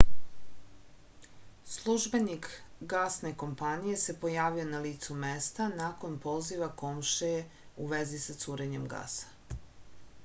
službenik gasne kompanije se pojavio na licu mesta nakon poziva komšije u vezi sa curenjem gasa